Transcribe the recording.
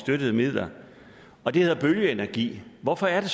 midler og det hedder bølgeenergi hvorfor er det